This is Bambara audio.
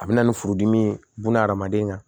A bɛ na ni furudimi ye buna hadamaden kan